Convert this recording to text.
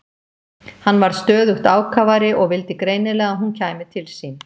Hann varð stöðugt ákafari og vildi greinilega að hún kæmi til sín.